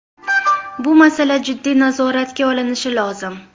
Bu masala jiddiy nazoratga olinishi lozim.